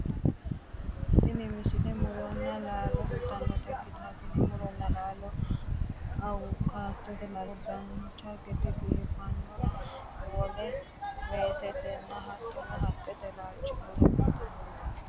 tini misile muronna laalo kultannota ikkitanna tini muronna laalono awukaatote laalcho dancha gede biifinoha hundasino wole weesetenna hattono haqqete laalchi nooha kultannote